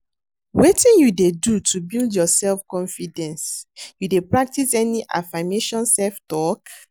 Wetin you dey do to build your self-confidence, you dey practice any affirmation self-talk?